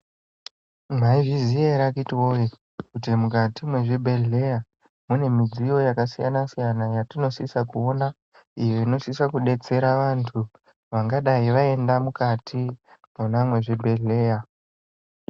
Mwaizviziya ere akitiwoye kuti mukati mwezvibhedhleya mune midziyo yakasiyana siyana yatinosisa kuona iyo inosisa kudetsera vantu vangadai vaenda mukati mwona mwezvibhedhleya.